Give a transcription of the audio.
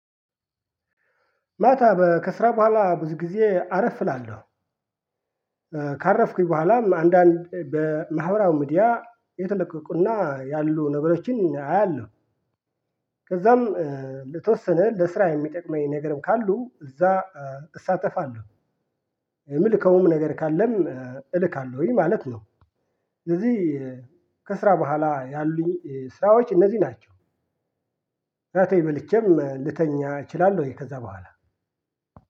ማታ ከስራ በኋላ ብዙ ጊዜ አረፍ እላለሁ ካረፍኩኝ በኋላም አንዳንድ በማህበራው ሚዲያ የተለቀቁና ያሉ ነገሮችን አያለሁ ከዛም በተወሰነ ለስራ የሚጠቅመኝ ነገርም ካሉ እዛ እሳተፋለሁ። የምልከውም ነገር ካለም እልካለሁኝ ማለት ነው ስለዚህ ከስራ በኋላ ያሉኝ ስራዎች እነዚህ ናቸው። እራቴን በልቼም ልተኛ እችላለሁኝ ከዛ በኋላ